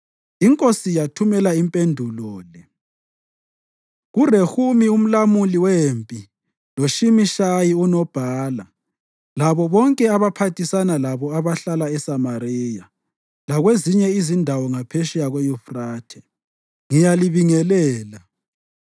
Inkosi yathumela impendulo le: KuRehumi umlawuli wempi loShimishayi unobhala labo bonke abaphathisana labo abahlala eSamariya lakwezinye izindawo ngaphetsheya kweYufrathe: Ngiyalibingelela.